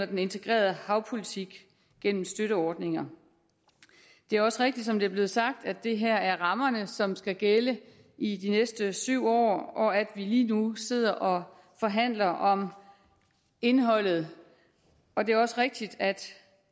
den integrerede havpolitik gennem støtteordninger det er også rigtigt som det er blevet sagt at det her er rammerne som skal gælde i de næste syv år og at vi lige nu sidder og forhandler om indholdet og det er også rigtigt at